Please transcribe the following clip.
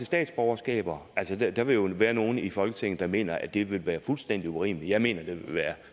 statsborgerskaber så vi at der vil jo være nogle i folketinget der mener at det vil være fuldstændig urimeligt men jeg mener det er